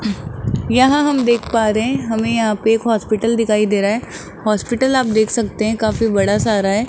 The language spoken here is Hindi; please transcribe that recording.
यहां हम देख पा रहे हैं हमें यहां पर एक हॉस्पिटल दिखाई दे रहा है हॉस्पिटल आप देख सकते हैं काफी बड़ा सारा है।